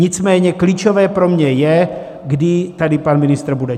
Nicméně klíčové pro mě je, kdy tady pan ministr bude.